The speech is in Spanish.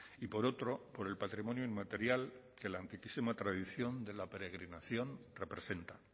y por otro por el patrimonio inmaterial que la antiquísima tradición de la peregrinación representa